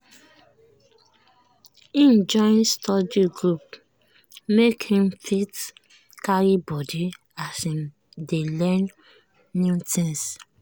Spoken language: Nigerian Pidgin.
im join study group make im go fit carry body as im dey learn new thing.